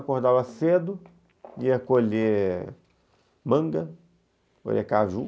Acordava cedo, ia colher manga, colher caju.